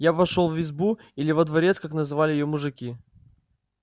я вошёл в избу или во дворец как называли её мужики